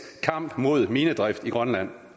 kamp mod minedrift i grønland